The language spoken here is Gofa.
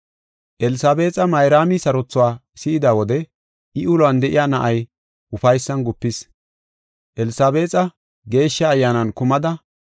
Elsabeexa Mayraami sarothuwa si7ida wode I uluwan de7iya na7ay ufaysan gupis. Elsabeexa Geeshsha Ayyaanan kumada,